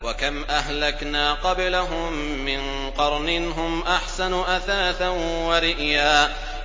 وَكَمْ أَهْلَكْنَا قَبْلَهُم مِّن قَرْنٍ هُمْ أَحْسَنُ أَثَاثًا وَرِئْيًا